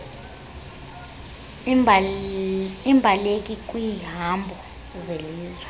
iimbaleki kwiihambo zelizwe